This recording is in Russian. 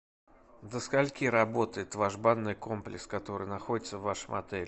до скольки работает ваш банный комплекс который находится в вашем отеле